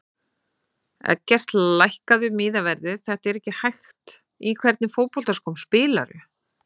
Eggert lækkaðu miðaverðið þetta er ekki hægt Í hvernig fótboltaskóm spilar þú?